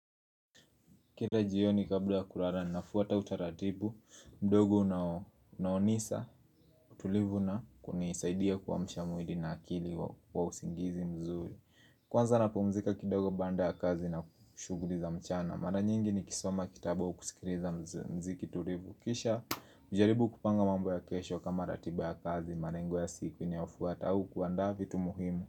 Kila jioni kabla kulala na nafuata utaratibu, mdogo unaonisa, utulivu na kunisaidia kuamsha mwili na akili wa usingizi mzuri Kwanza na pumzika kidogo baada ya kazi na shughuli za mchana Mara nyingi ni kisimama kitabu au kusikiliza mziki tulivu Kisha najaribu kupanga mambo ya kesho kama ratiba ya kazi, marengo ya siku inayofuata au kuanda vitu muhimu.